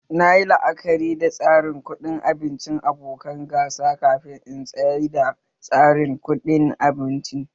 Nayi la'akari da tsarin kuɗi abincin abokan gasa kafin in tsaida tsarin kuɗin abincin